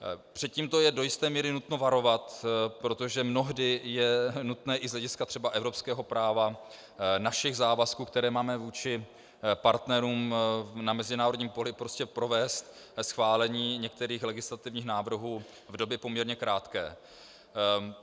Před tím je do jisté míry nutno varovat, protože mnohdy je nutné i z hlediska třeba evropského práva našich závazků, které máme vůči partnerům na mezinárodním poli, prostě provést schválení některých legislativních návrhů v době poměrně krátké.